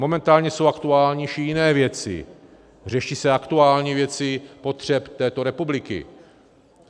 Momentálně jsou aktuálnější jiné věci, řeší se aktuální věci potřeb této republiky.